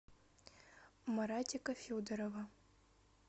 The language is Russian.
маратика федорова